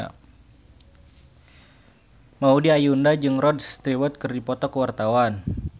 Maudy Ayunda jeung Rod Stewart keur dipoto ku wartawan